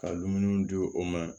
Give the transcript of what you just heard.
Ka dumuniw di o ma